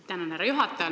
Tänan, härra juhataja!